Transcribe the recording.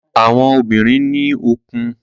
Àwọn obìnrin ní òkun.